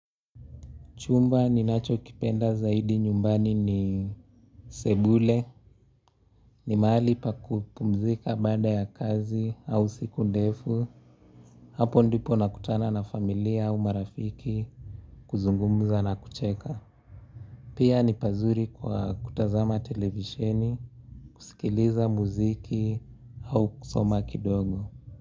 Chumba nicho kipenda zaidi nyumbani ni sebule, ni mahali pa kupumzika baada ya kazi au siku ndefu, hapo ndipo nakutana na familia au marafiki kuzungumza na kucheka. Pia ni pazuri kwa kutazama televisheni, kusikiliza muziki au kusoma kidogo.